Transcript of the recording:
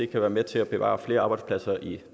kan være med til at bevare flere arbejdspladser i